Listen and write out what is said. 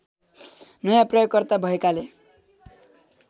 नयाँ प्रयोगकर्ता भएकाले